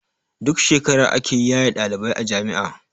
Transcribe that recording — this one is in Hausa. Duk shekara ake yaye ɗalibai a jami'a